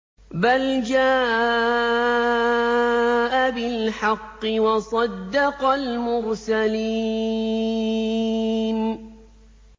بَلْ جَاءَ بِالْحَقِّ وَصَدَّقَ الْمُرْسَلِينَ